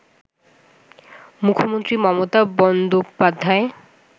মুখ্যমন্ত্রী মমতা বন্দ্যোপাধ্যায়